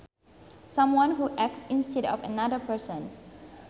Someone who acts instead of another person